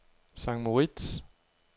St. Moritz